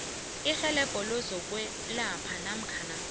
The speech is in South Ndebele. irhelebho lezokwelapha namkha